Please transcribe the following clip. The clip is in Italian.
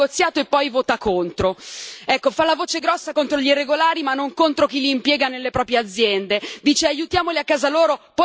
Ecco, fa la voce grossa contro gli irregolari, ma non contro chi li impiega nelle proprie aziende, dice aiutiamoli a casa loro e poi vota contro gli aiuti allo sviluppo.